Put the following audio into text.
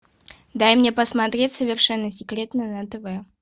дай мне посмотреть совершенно секретно на тв